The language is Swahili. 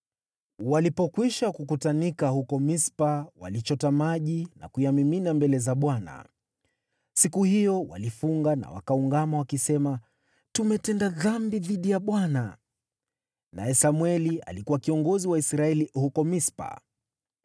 Walipokwisha kukutanika huko Mispa, walichota maji na kuyamimina mbele za Bwana . Siku hiyo walifunga na wakaungama, wakisema, “Tumetenda dhambi dhidi ya Bwana .” Naye Samweli alikuwa kiongozi wa Israeli huko Mispa.